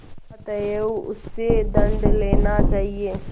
अतएव उससे दंड लेना चाहिए